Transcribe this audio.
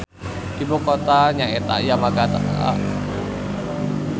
Ibukotana nyaeta Yamagata.